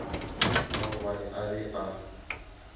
ka gobane a be a